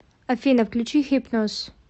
афина включи хипноз